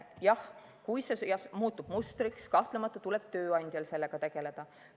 Aga kui see muutub mustriks, siis kahtlemata tuleb tööandjal sellega tegeleda.